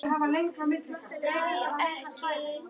Nær ekki.